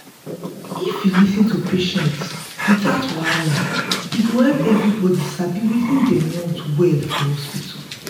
if you fit lis ten to patients without wahala e go help everybody sabi wetin dem want well for hospital.